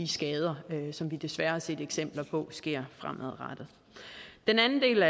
skader som vi desværre har set eksempler på sker fremadrettet den anden del